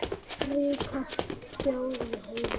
Ríkasta þjóð í heimi.